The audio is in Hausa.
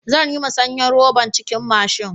Zan yi masanyan roɓan cikin mashin.